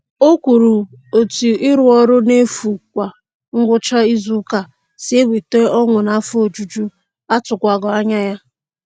O kwuru etu ịrụ ọrụ n'efu kwa ngwụcha izuụka si eweta ọṅụ naa afọ ojuju atụwaghị anya ya.